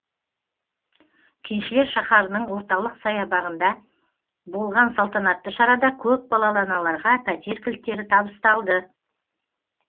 кеншілер шаһарының орталық саябағында болған салтанатты шарада көпбалалы аналарға пәтер кілттері табысталды